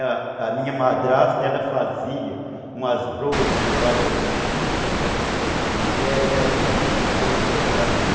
A minha madrasta fazia umas broas de fubá de canjica, que era uma delícia, o povo gostava muito.